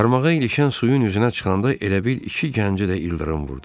Qarmağa ilişən suyun üzünə çıxanda elə bil iki gənci də ildırım vurdu.